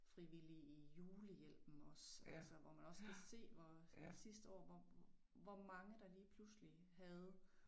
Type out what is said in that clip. Frivillig i julehjælpen også altså hvor man også kan se hvor sidste år hvor hvor mange der lige pludselig havde